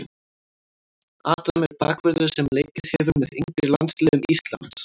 Adam er bakvörður sem leikið hefur með yngri landsliðum Íslands.